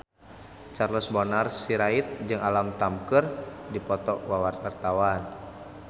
Charles Bonar Sirait jeung Alam Tam keur dipoto ku wartawan